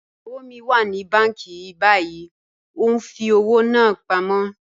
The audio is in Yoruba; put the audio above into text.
Iyawo mi wà ní bànki bàyìí, o n fi ọwọ́ náà pámọ.